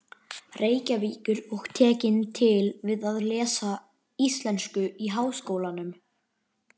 Reykjavíkur og tekin til við að lesa íslensku í Háskólanum.